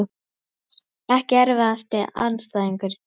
pass Ekki erfiðasti andstæðingur?